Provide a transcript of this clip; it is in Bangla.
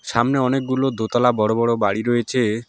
সামনে অনেকগুলো দোতলা বড়ো বড়ো বাড়ি রয়েছে।